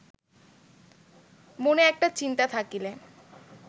মনে একটা চিন্তা থাকিলে